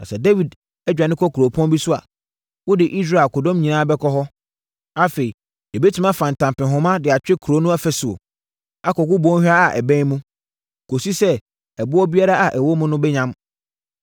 Na sɛ Dawid adwane kɔ kuropɔn bi so a, wode Israel akodɔm nyinaa bɛkɔ hɔ. Afei, yɛbɛtumi afa ntampehoma de atwe kuro no afasuo, akɔgu bɔnhwa a ɛbɛn mu, kɔsi sɛ ɛboɔ biara a ɛwɔ mu no bɛyam.”